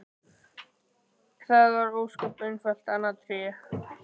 Það var ósköp einfaldlega annað Tré!